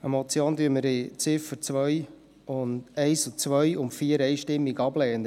Die Motion lehnen wir in den Ziffern 1, 2 und 4 einstimmig ab.